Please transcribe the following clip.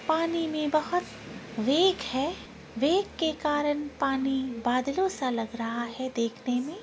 पानी में बहुत वेग है वेग के कारण पानी बादलों सा लग रहा है देखने में।